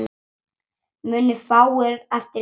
Munu fáir eftir leika.